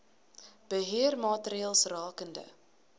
beheer maatreëls rakende